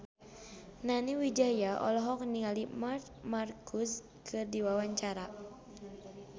Nani Wijaya olohok ningali Marc Marquez keur diwawancara